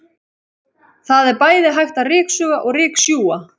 Það er bæði hægt að ryksuga og ryksjúga.